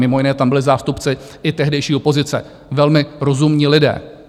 Mimo jiné tam byli zástupci i tehdejší opozice - velmi rozumní lidé.